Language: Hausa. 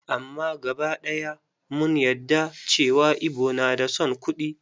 Amma gaba ɗaya mun yadda cewa Igbo na da son kuɗi.